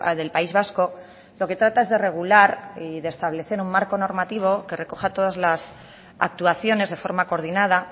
del país vasco lo que trata es de regular y de establecer un marco normativo que recoja todas las actuaciones de forma coordinada